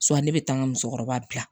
ne bɛ taa n ka musokɔrɔba bila